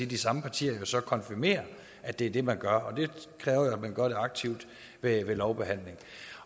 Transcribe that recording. de samme partier så konfirmere at det er det man gør og det kræver jo at man gør det aktivt ved lovbehandling